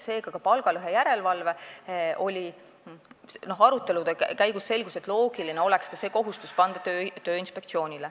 Seega, arutelude käigus selgus, et loogiline oleks ka palgalõhe järelevalve kohustus panna Tööinspektsioonile.